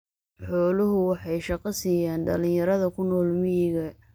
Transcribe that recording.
Xooluhu waxay shaqo siiyaan dhalinyarada ku nool miyiga.